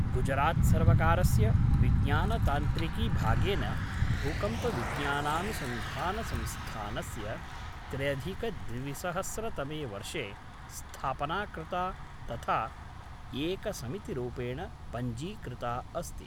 गुजरात्सर्वकारस्य विज्ञानतान्त्रिकीभागेन, भूकम्पविज्ञानानुसंधानसंस्थानस्य त्र्यधिकद्विसहस्रतमे वर्षे स्थापना कृता तथा एकसमितिरूपेण पञ्जीकृता अस्ति।